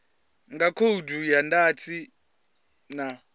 nga khoudu ya ndatiso na